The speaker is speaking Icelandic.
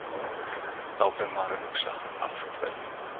Þá fer maður að hugsa Af hverju?